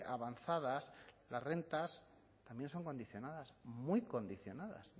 avanzadas las rentas también son condicionadas muy condicionadas